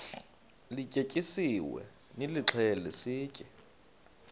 lityetyisiweyo nilixhele sitye